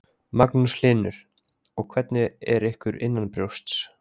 Magnús Hlynur: Og hvernig er ykkur innanbrjósts?